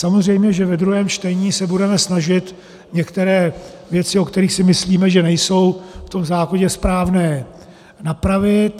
Samozřejmě, že ve druhém čtení se budeme snažit některé věci, o kterých si myslíme, že nejsou v tom zákoně správné, napravit.